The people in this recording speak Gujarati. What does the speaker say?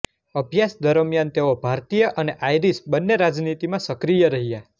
અભ્યાસ દરમિયાન તેઓ ભારતીય અને આયરીશ બન્ને રાજનીતિમાં સક્રીય રહ્યા